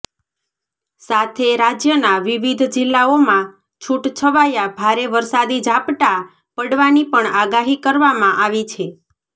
સાથે રાજ્યના વિવિધ જિલ્લાઓમા છૂટછવાયા ભારે વરસાદી ઝાપટા પડવાની પણ આગાહી કરવામાં આવી છે